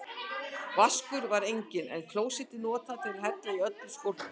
Vaskur var enginn, en klósettið notað til að hella í öllu skólpi.